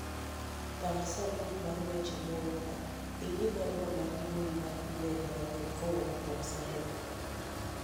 pang sanduk mar weche moorna ing'i barua mar mbui mar email manyien kowuok kuom Salim